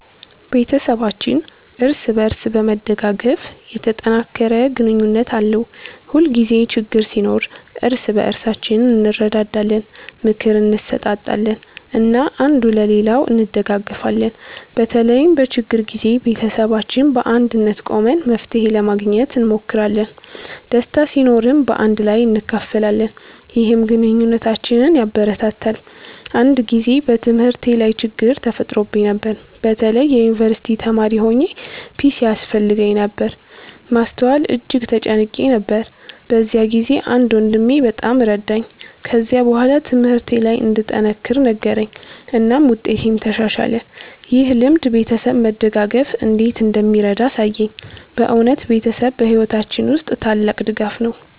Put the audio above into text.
ቤተሰባችን እርስ በእርስ በመደጋገፍ የተጠናከረ ግንኙነት አለው። ሁልጊዜ ችግኝ ሲኖር እርስ በእርሳችን እንረዳዳለን፣ ምክር እንሰጣጣለን እና አንዱ ሌላውን እንደጋገፊለን። በተለይም በችግር ጊዜ ቤተሰባችን በአንድነት ቆመን መፍትሄ ለማግኘት እንሞክራለን። ደስታ ሲኖርም በአንድ ላይ እናካፍላለን፣ ይህም ግንኙነታችንን ያበረታታል። አንድ ጊዜ በትምህርቴ ላይ ችግኝ ተፈጥሮብኝ ነበር። በተለይ የዩንቨርሲቲ ተማሪ ሆኘ ፒሲ ያስፈልገኝ ነበር ማስተዋል እጅግ ተጨንቄ ነበር። በዚያ ጊዜ አንድ ወንድሜ በጣም ረዳኝ። ከዚያ በኋላ ትምህርቴ ለይ እንድጠነክር ነገረኝ እናም ውጤቴም ተሻሻለ። ይህ ልምድ ቤተሰብ መደጋገፍ እንዴት እንደሚረዳ አሳየኝ። በእውነት ቤተሰብ በሕይወታችን ውስጥ ታላቅ ድጋፍ ነው።